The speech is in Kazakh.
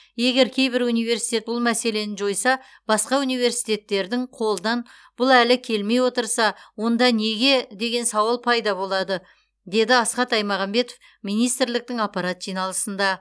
егер кейбір университет бұл мәселені жойса басқа университеттердің қолынан бұл әлі келмей отырса онда неге деген сауал пайда болады деді асхат аймағамбетов министрліктің аппарат жиналысында